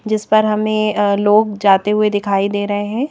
जिस पर हमें अ लोग जाते हुए दिखाई दे रहे हैं।